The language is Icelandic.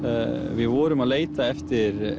við vorum að leita eftir